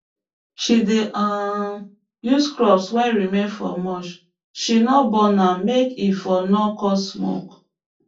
she dey um use crop wey remain for mulch she no burn am make e for no cause smoke